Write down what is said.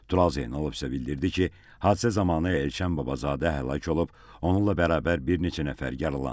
Tural Zeynalov isə bildirdi ki, hadisə zamanı Elşən Babazadə həlak olub, onunla bərabər bir neçə nəfər yaralanıb.